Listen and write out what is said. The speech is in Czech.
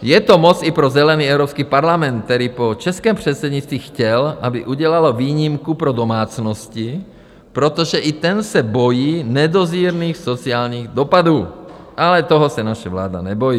Je to moc i pro zelený Evropský parlament, který po českém předsednictví chtěl, aby udělalo výjimku pro domácnosti, protože i ten se bojí nedozírných sociálních dopadů, ale toho se naše vláda nebojí.